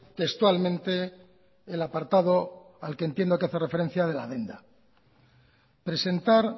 textualmente el apartado al que entiendo que hace referencia de la presentar